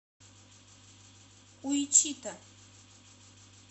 уичито